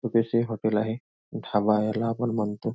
छोटेसे हॉटेल आहे ढाबा ह्याला आपण म्हणतो.